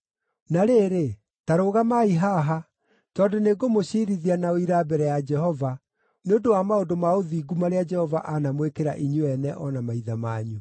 Na rĩrĩ, ta rũgamai haha, tondũ nĩngũmũciirithia na ũira mbere ya Jehova nĩ ũndũ wa maũndũ ma ũthingu marĩa Jehova anamwĩkĩra inyuĩ ene o na maithe manyu.